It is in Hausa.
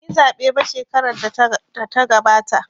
Banyi zaɓe ba shekarar da ta gabata